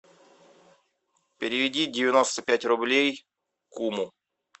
переведи девяносто пять рублей куму